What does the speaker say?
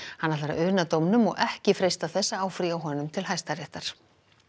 hann ætlar að una dómnum og ekki freista þess að áfrýja honum til Hæstaréttar